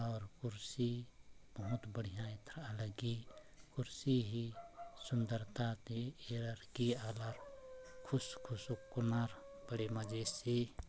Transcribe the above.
और कुर्सी बहुत बढ़िया था हालांकि कुर्सी ही सुंदरता के हर लगे खुस खुस कोनार बड़े मजे से--